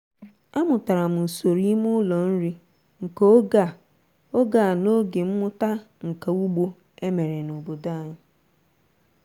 amụtara m usoro ime ụlọ nri nke oge a oge a n'oge mmụta nka ugbo e mere n'obodo anyị.